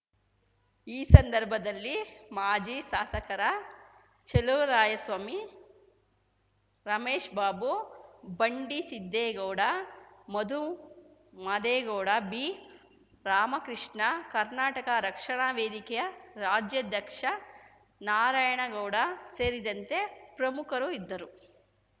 ಈ ಸಂದರ್ಭದಲ್ಲಿ ಮಾಜಿ ಶಾಸಕರ ಚೆಲುವರಾಯಸ್ವಾಮಿ ರಮೇಶ್‌ ಬಾಬು ಬಂಡಿಸಿದ್ದೇಗೌಡ ಮಧುಮಾದೇಗೌಡ ಬಿರಾಮಕೃಷ್ಣ ಕರ್ನಾಟಕ ರಕ್ಷಣಾ ವೇದಿಕೆಯ ರಾಜ್ಯಾಧ್ಯಕ್ಷ ನಾರಾಯಣ ಗೌಡ ಸೇರಿದಂತೆ ಪ್ರಮುಖರು ಇದ್ದರು